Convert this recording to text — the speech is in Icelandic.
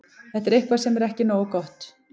Þetta er eitthvað sem er ekki nógu gott.